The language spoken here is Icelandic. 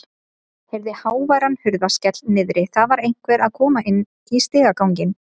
Heyrði háværan hurðarskell niðri, það var einhver að koma inn í stigaganginn.